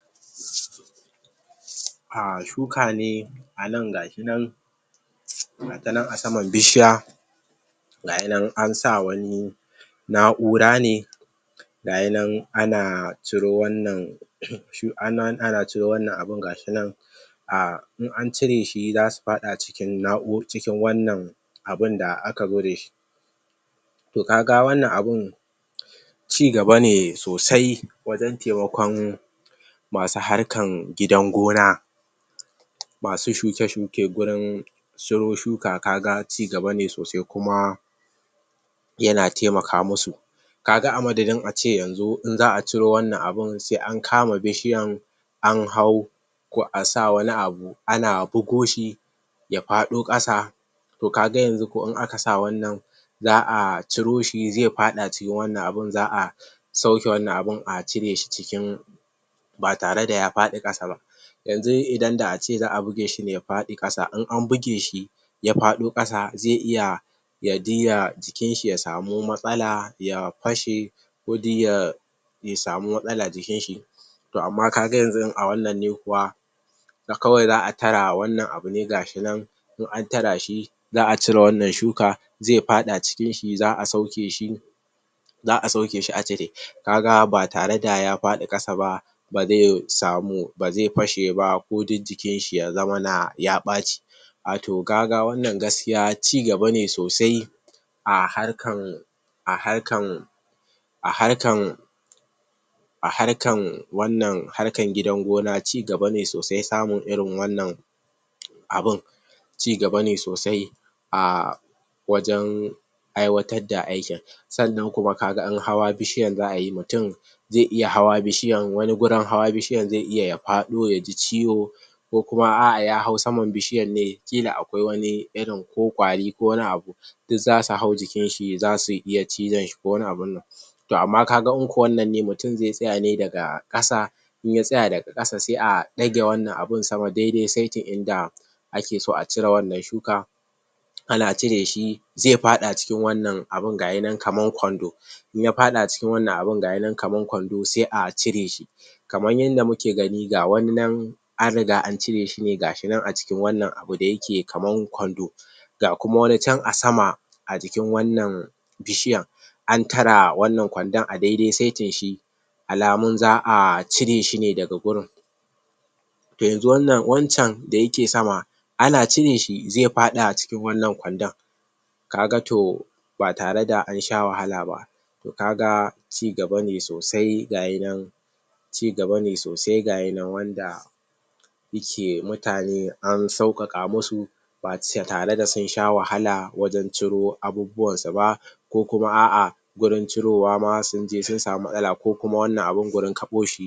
um shuka ne anan gashinan gatanan asaman bishiya gayinan ansa wani na urane gayinan ana curo wannan ana curo wannan abun gayinan a in an cireshi zasu faɗa cikin wannan abun da akazo dashi to kaga wannan abun ci gabane sosai wajan temakon masu harkan gidan gona masu shuke shuke gurin su shuka kaga ci gabane sosai kaga yana temaka musu kaga a madadin ace yanzu in za a curo wannan abun se an kama bishiyan an hau ko asa wani abu ana bugo shi ya faɗo ƙasa to kaga yanzu to in akasa wannan za a curoshi ze faɗa cikin wannan abun za a sauke wannan abun acireshi cikin batare da ya faɗi ƙasaba yanzu idan da ace za bugeshi ne faɗi ƙasa in an bige shi ya faɗo ƙasa ze iya yaje ya jikinshi yasamu matsala ya fashe kodai ya ya yasamu matsala jikinshi to amma kaga yanzu a wannan ne kuwa kawai za tara wannan abu ne gashinan in an tarashi za a cire wannan shuka ze faɗa cikin shi za cireshi za a sauke za asauke shi acire kaga ba tareda ya faɗi ƙasaba baze samu baze fashe ba ko duk jikinshi yazamana ɓaci ato kaga wannan gaskiya ci gabane sosai aharkan aharkan aharkan aharkan wannan hakar gidan gona cigabane sosai samun irin wannan abun ci gabane sosaia wajan aiwatar da aikin sannan kuma in hawa bishiyan za ayi mutun ze iya hawa bishiyan wani gurin hawa bishiyan ze iya faɗo yaji ciwo kokuma a'a ya hau saman bishiyanne kila akwai wani irin ko kwari ko wani abu duk zasu hau jikinshi zasu iya cizonshi ko wani abune to amma kaga into wannan ne mutun ze tsayane daga ƙasa in ya tsaya daga ƙasa se a ɗage wannan abun sama dedai setin inda ake so a cire wannan shuka ana cireshi ze faɗa cikin wannan abun gayinan kaman kwando inya faɗa cikin wannan abun da muke gani kaman kwando se a ciresh kaman yanda muke gani ga wani nan anringa an cire shine gashinan aci kin wannan abu dayake kaman kwando ga kuma wanican asama ajikin wannan bishiyan antara wannan kwandon a dedai setin shi alamun za a cire shine daga gurun daga yanzu wannan wancen dayeke sama ana cireshi ze faɗa acikin wannan kwandon kaga to batare da ansha wahala ba to gaga ci gabane sosai ga yinan ci gabane sosai ga yinan wanda ike mutane an saukaka musu ba tare da sun sha wahala wajan curo abubuwansu ba ko kuma a'a gurun curowama sunje sun sama matsala ko kuma wannan abun gurun kaɓoshi